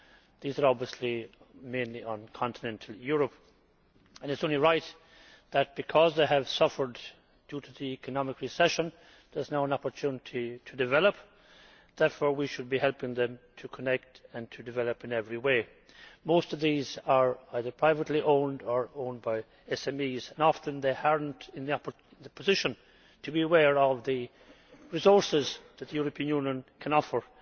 These are obviously mainly on continental Europe, and it is only right that because they have suffered due to the economic recession there is now an opportunity to develop. Therefore, we should be helping them to connect and develop in every way. Most of these are either privately owned or owned by SMEs, and often they are not in a position to be aware of the resources that the European Union can offer.